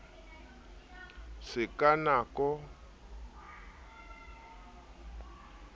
se ka nako tsohle di